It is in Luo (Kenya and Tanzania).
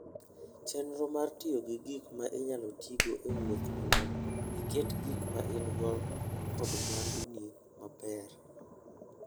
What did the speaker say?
Chenro mar tiyo gi gik ma inyalo tigo e wuoth mondo iket gik ma in-go kod mwanduni obed maler.